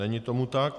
Není tomu tak.